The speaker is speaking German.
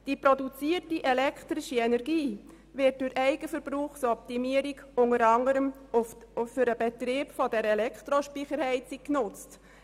Die produzierte elektrische Energie wird durch Eigenverbrauchsoptimierung unter anderem für den Betrieb der Elektrospeicherheizung genutzt.